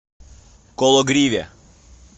кологриве